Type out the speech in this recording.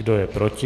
Kdo je proti?